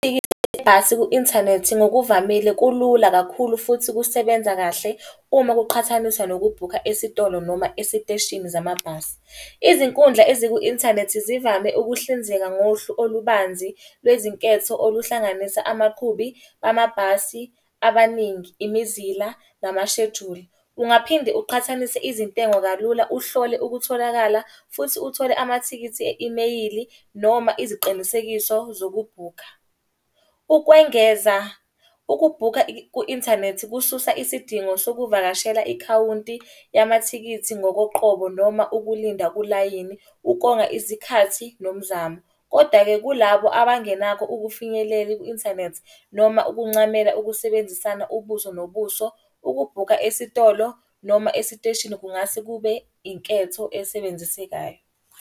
Ibhasi ku-inthanethi ngokuvamile kulula kakhulu futhi kusebenza kahle uma kuqhathaniswa nokubhukha esitolo noma esiteshini zamabhasi. Izinkundla eziku-inthanethi zivame ukuhlinzeka ngohlu olubanzi, lwezinketho oluhlanganisa amakhubi bamabhasi abaningi, imizila, namashejuli. Ungaphinde uqhathanise izintengo kalula, uhlole ukutholakala futhi uthole amathikithi e-imeyili, noma iziqinisekiso zokubhukha. Ukwengeza, ukubhukha ku-inthanethi kususa isidingo sokuvakashela ikhawunti yamathikithi ngokoqobo noma ukulinda kulayini ukonga isikhathi nomzamo. Koda-ke kulabo abangenako. Ukufinyelela ku-inthanethi noma ukuncamela ukusebenzisana ubuso nobuso, ukubhuka esitolo noma esiteshini, kungase kube inketho esebenzisekayo.